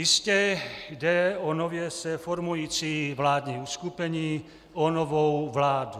Jistě, jde o nově se formující vládní uskupení, o novou vládu.